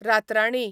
रातराणी